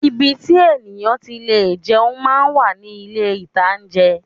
Ibi tí èèyàn ti lè jẹun máa ń wà ní ilé-ìtajà